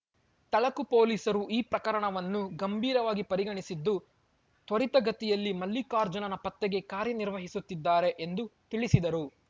ತಳಕು ಪೊಲೀಸರು ಈ ಪ್ರಕರಣವನ್ನು ಗಂಭೀರವಾಗಿ ಪರಿಗಣಿಸಿದ್ದು ತ್ವರಿತಗತಿಯಲ್ಲಿ ಮಲ್ಲಿಕಾರ್ಜುನನ ಪತ್ತೆಗೆ ಕಾರ್ಯನಿರ್ವಹಿಸುತ್ತಿದ್ದಾರೆ ಎಂದು ತಿಳಿಸಿದರು